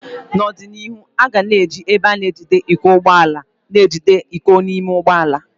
N'ọdịnihu, aga na eji ebe na-ejide iko ụgbọ ala na-ejide iko n'ime ụgbọ ala.